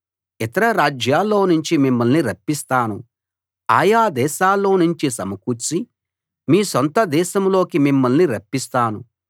ఇతర రాజ్యాల్లో నుంచి మిమ్మల్ని రప్పిస్తాను ఆ యా దేశాల్లో నుంచి సమకూర్చి మీ సొంత దేశంలోకి మిమ్మల్ని రప్పిస్తాను